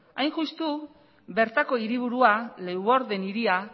hain justu bertako hiriburua leeuwarden hiria